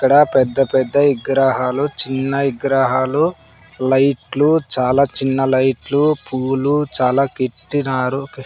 ఇక్కడ పెద్ద పెద్ద విగ్రహాలు చిన్న విగ్రహాలు లైట్లు చాలా చిన్న లైట్లు పూలు చాలా కిట్టినారు.